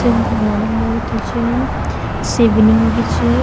शिव भगवानक मूर्ति च शिवलिंग भी च।